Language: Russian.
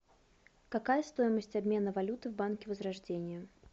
какая стоимость обмена валюты в банке возрождение